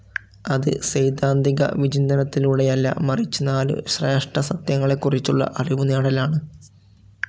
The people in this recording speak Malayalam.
അത് സൈദ്ധാതികവിചിന്തനത്തിലൂടെയല്ല, മറിച്ച് നാലു ശ്രേഷ്ഠസത്യങ്ങളെക്കുറിച്ചുള്ള അറിവുനേടലാണ്.